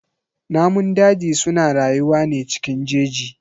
Namun daji suna rayuwa ne cikin jeji.